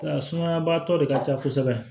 A sumayabaatɔ de ka ca kosɛbɛ